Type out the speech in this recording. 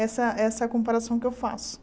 Essa essa comparação que eu faço.